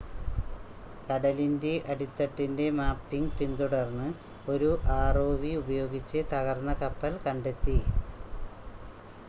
കടലിൻ്റെ അടിത്തട്ടിൻ്റെ മാപ്പിംഗ് പിന്തുടർന്ന് ഒരു ആർഓവി ഉപയോഗിച്ച് തകർന്ന കപ്പൽ കണ്ടെത്തി